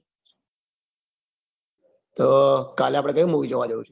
તો કાલે આપડે કયું movie જોવા જઉં છે.